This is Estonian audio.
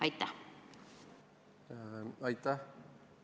Aitäh!